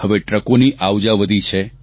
હવે ટ્રકોની આવજા વધી છે